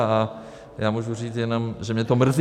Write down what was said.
A já můžu říct jenom, že mě to mrzí.